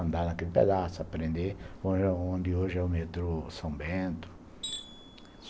Andar naquele pedaço, aprender onde hoje é o metrô São Bento.